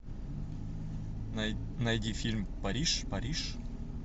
найди фильм париж париж